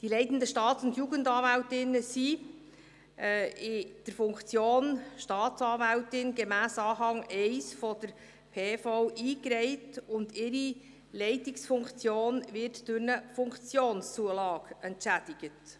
Die leitenden Staats- und Jugendanwältinnen und -anwälte sind gemäss Anhang 1 PV als Staatsanwältinnen und Staatsanwälte eingereiht, und ihre Leitungsfunktion wird durch eine Funktionszulage entschädigt.